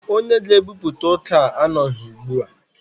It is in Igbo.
Onye ga-ebupụta ọka anọghị ugbu a.